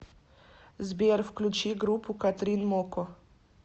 сбер включи группу катрин мокко